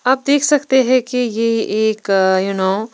आप देख सकते हैं कि यह एक यू नो --